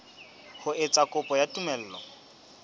ho etsa kopo ya tumello